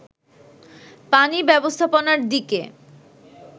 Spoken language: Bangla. পানি ব্যবস্থাপনার দিকে